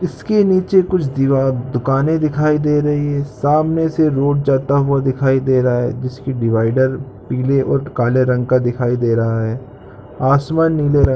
इसके नीचे कुछ दुकानें दिखाई दे रही है सामने से रोड जाता हुआ दिखाई दे रहा है जिसकी डिवाइडर पीले और काले रंग का दिख रहा है आसमान नीले रंग --